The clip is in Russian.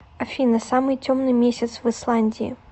афина самый темный месяц в исландии